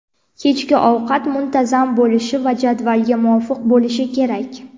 kechki ovqat muntazam bo‘lishi va jadvalga muvofiq bo‘lishi kerak.